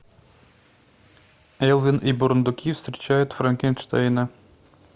элвин и бурундуки встречают франкенштейна